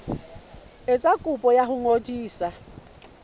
etsa kopo ya ho ngodisa